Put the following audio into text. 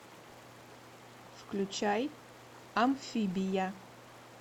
включай амфибия